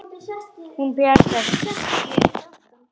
Hún bjargar sér.